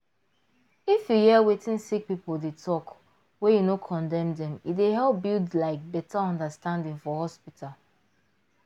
if your hear wetin sick people dey talk wey you no condemn dem e dey help build like better understanding for hospital